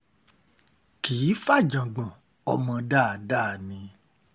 kì í fa ìjágbọ́n ọmọ dáadáa ni